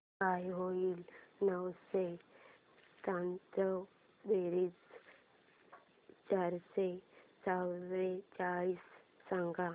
काय होईल नऊशे त्र्याण्णव बेरीज चारशे चव्वेचाळीस सांग